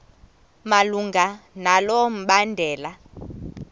malunga nalo mbandela